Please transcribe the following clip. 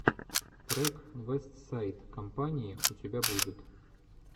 трек вестсайд компани у тебя будет